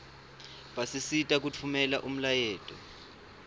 basisita kutfumela umlayeto